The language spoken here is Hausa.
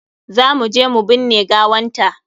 Za mu je mu binne gawanta.